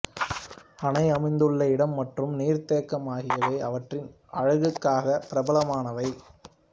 அணை அமைந்துள்ள இடம் மற்றும் நீர்த்தேக்கம் ஆகியவை அவற்றின் அழகுக்காக பிரபலமானவை